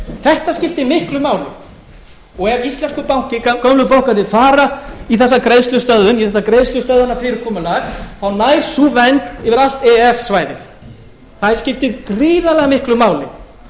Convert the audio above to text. þetta skiptir miklu máli og ef íslenskur banki gömlu bankarnir fara í þessa greiðslustöðvun í þetta greiðslustöðvunarfyrirkomulag þá nær sú vernd yfir allt e e s svæðið það skiptir gríðarlega miklu máli